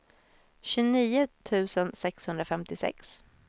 tjugonio tusen sexhundrafemtiosex